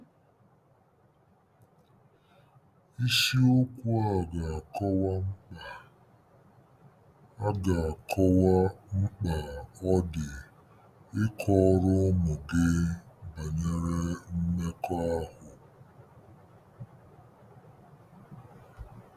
Isiokwu a ga-akọwa mkpa a ga-akọwa mkpa ọ dị ịkọrọ ụmụ gị banyere mmekọahụ.